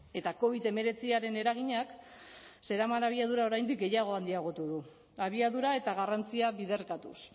eta covid hemeretziaren eraginak zeraman abiadura oraindik gehiago handiagotu du abiadura eta garrantzia biderkatuz